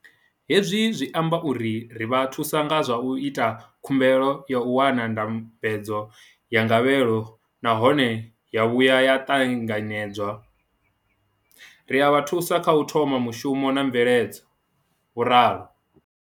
Hezwi zwi amba uri ri vha thusa nga zwa u ita khumbelo ya u wana ndambedzo ya gavhelo nahone ya vhuya ya ṱanganyedzwa, ri a vha thusa kha u thoma mushumo na mveledzo, vho ralo.